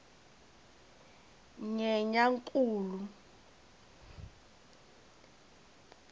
nyenyankulu